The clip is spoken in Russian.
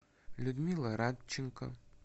людмила радченко